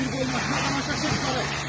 O bir qorxdu məni başqa eləyir.